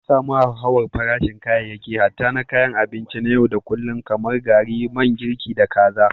An samu hauhawar farashin kayayyaki hatta na kayan abinci na yau da kullun kamar gari, man girki, da kaza.